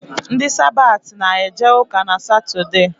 Ndi Sabati na-eje ụka n’Satọdee